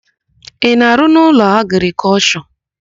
Ị na-arụ n'Ụlọakụ Agrịkọlshọ?